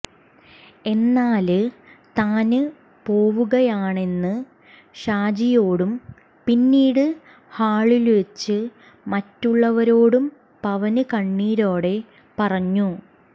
എന്നാല് താന് പോവുകയാണെന്ന് ഷാജിയോടും പിന്നീട് ഹാളില്വച്ച് മറ്റുള്ളവരോടും പവന് കണ്ണീരോടെ പറഞ്ഞു